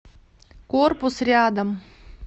корпус рядом